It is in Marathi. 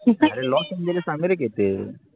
आरे लॉस एंजिल्स अमेरिकेत ए